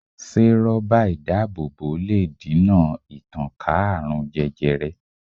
Se ró̩bà idaabobo le dina ìtànká aarun jẹjẹrẹ